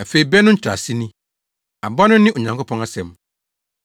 “Afei bɛ no nkyerɛase ni. Aba no ne Onyankopɔn asɛm.